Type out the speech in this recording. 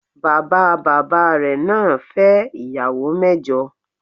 Bàbá bàbá rẹ̀ naa fẹ́ ìyàwó mẹ́jọ